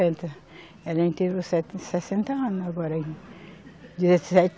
sessenta anos agora. Dia sete